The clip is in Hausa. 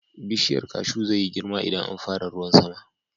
Bishiyar kashu zai yi girma idan an fara ruwan sama.